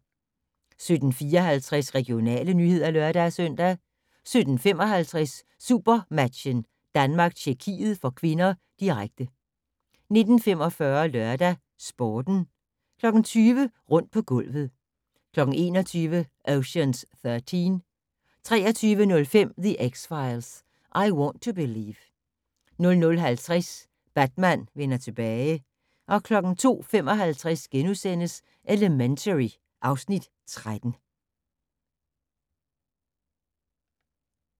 17:54: Regionale nyheder (lør-søn) 17:55: SuperMatchen: Danmark-Tjekkiet (k), direkte 19:45: LørdagsSporten 20:00: Rundt på gulvet 21:00: Ocean's Thirteen 23:05: The X-Files: I Want to Believe 00:50: Batman vender tilbage 02:55: Elementary (Afs. 13)*